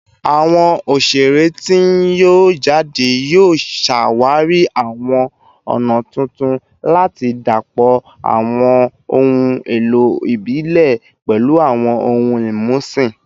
Awọn oṣere ti n yọ jade yoo ṣawari awọn ọna tuntun lati dapọ awọn ohun elo ibile pẹlu awọn ohun imusin